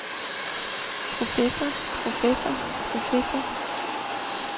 professor professor professor